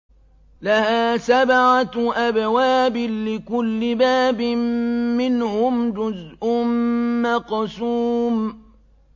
لَهَا سَبْعَةُ أَبْوَابٍ لِّكُلِّ بَابٍ مِّنْهُمْ جُزْءٌ مَّقْسُومٌ